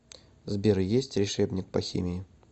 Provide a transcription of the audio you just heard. сбер есть решебник по химии